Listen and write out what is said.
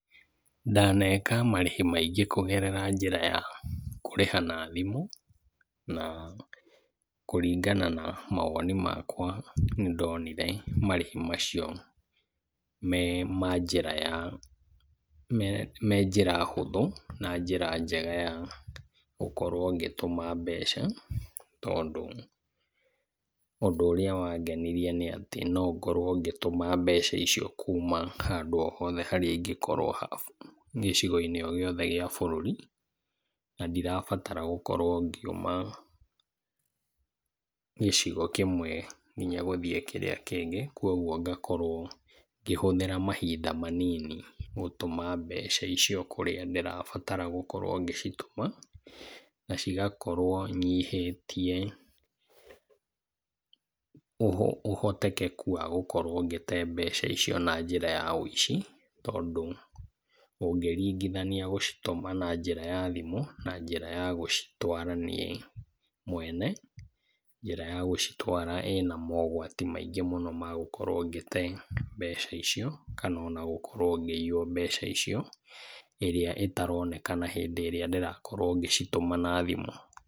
Ndaneka marĩhi maingĩ kũgerera njĩra ya kũrĩha na thimũ, na kũringana na mawoni makwa nĩ ndonire marĩhi macio me ma njĩra ya, me, me njĩra hũthũ na njĩra njega ya gũkorwo ngĩtũma mbeca, tondũ ũndũ ũrĩa wangenirie nĩ atĩ nongorwo ngĩtũma mbeca icio kuuma handũ o hothe harĩa ingĩkorwo ha, gĩcigo-inĩ o gĩothe gĩa bũrũri, na ndirabatara gũkorwo ngiuma gĩcigo kĩmwe nginya gũthiĩ kĩrĩa kĩngĩ, koguo ngakorwo ngĩhũthĩra mahinda manini gũtũma mbeca icio kũrĩa ndĩrabatara gũkorwo ngĩcitũma, na cigakorwo nyihĩtie ũhotekeku wa gũkorwo ngĩte mbeca icio na njĩra ya wũici, tondũ ũngĩringithania gũcitũma na njĩra ya thimũ na njĩra ya gũcitwara niĩ mwene, njĩra ya gũcitwara ĩna mogwati maingĩ mũno ma gũkorwo ngĩte mbeca icio kana ona gũkorwo ngĩiywo mbeca icio, ĩrĩa ĩtaronekana hĩndĩ ĩrĩa ndĩrakorwo ngĩcitũma na thimũ.